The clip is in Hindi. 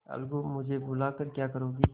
अलगूमुझे बुला कर क्या करोगी